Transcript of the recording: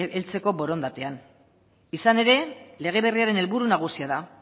heltzeko borondatean izan ere lege berriaren helburu nagusia da